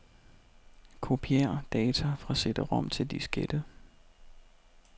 Kopier data fra cd-rom til diskette.